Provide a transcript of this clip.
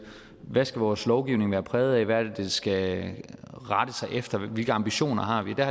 hvad skal vores lovgivning være præget af hvad skal den rette sig efter og hvilke ambitioner har vi der